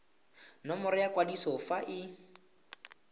nomoro ya kwadiso fa e